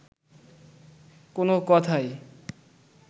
কোন কথাই